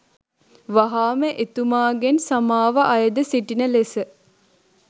වහාම එතුමාගෙන් සමාව අයැද සිටින ලෙස